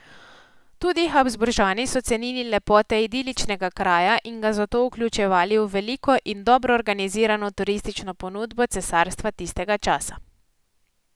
Tudi Habsburžani so cenili lepote idiličnega kraja in ga zato vključevali v veliko in dobro organizirano turistično ponudbo cesarstva tistega časa.